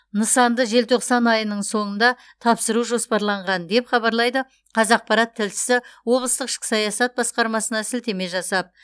нысанды желтоқсан айының соңында тапсыру жоспарланған деп хабарлайды қазақпарат тілшісі облыстық ішкі саясат басқармасына сілтеме жасап